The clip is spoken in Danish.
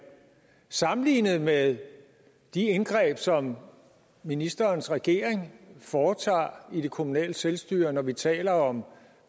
sammenlignet med de indgreb som ministerens regering foretager i det kommunale selvstyre når vi taler om